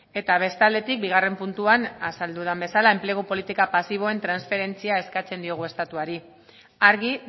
eta bestaldetik bigarren puntuan azal duda bezala enplegu politika pasiboen transferentzia eskatzen diogu estatuari argi